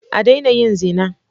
A daina yin zina.